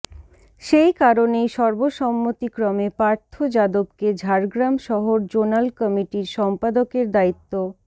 সেই কারণেই সর্বসম্মতিক্রমে পার্থ যাদবকে ঝাড়গ্রাম শহর জোনাল কমিটির সম্পাদকের দায়িত্ব